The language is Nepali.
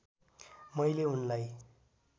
मैले उनलाई